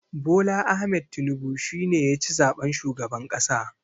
Bola Ahmed Tinibu shi ne ya ci zaɓen shugaban ƙasa.